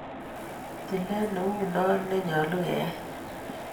Tilet ne ui no ne nyalu keyai